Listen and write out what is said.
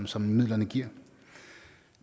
som midlerne giver